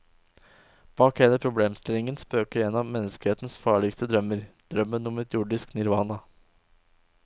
Bak hele problemstillingen spøker en av menneskehetens farligste drømmer, drømmen om et jordisk nirvana.